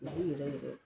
U b'u yɛrɛ